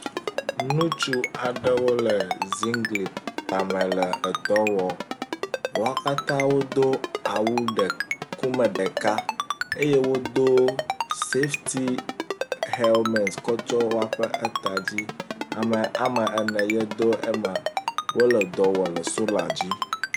Ŋutsu aɖewo le ziŋgli tame le dɔwɔm wo katã wodo awu ŋkume ɖeka eye wodo safety helmet ko sto woƒe eta dzi ame wome ene ye do xe ema wole edɔ wom le sola dzi